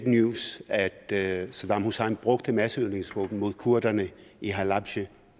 news at at saddam hussein brugte masseødelæggelsesvåben mod kurderne i halabja